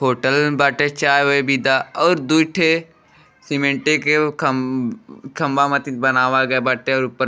hotel बाटे चाय वाय और दू ठे सीमेंटे के उ खम खम्भा मतीन बनावल गइल बाटे और ऊपर --